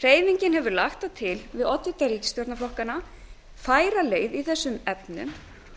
hreyfingin hefur lagt til við oddvita ríkisstjórnarflokkanna færa leið í þessum efnum